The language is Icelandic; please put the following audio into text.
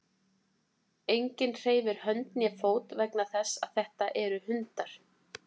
Enginn hreyfir hönd né fót vegna þess að þetta eru hundar.